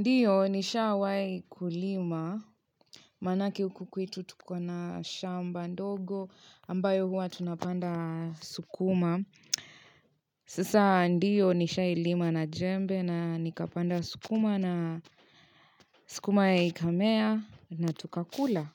Ndiyo nishawai kulima manake huku kwetu tukona shamba ndogo ambayo huwa tunapanda sukuma sasa ndiyo nishawai lima na jembe na nikapanda sukuma na sukuma ikamea na tukakula